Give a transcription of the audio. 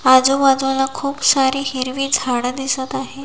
आजूबाजूला खूप सारी हिरवी झाडे दिसत आहेत.